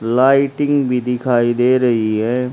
Lighting भी दिखाई दे रही है।